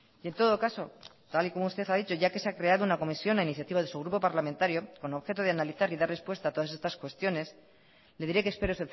y en todo caso tal y como usted ha dicho ya que se ha creado una comisión a iniciativa de su grupo parlamentario con objeto de analizar y dar respuesta a todas estas cuestiones le diré que espero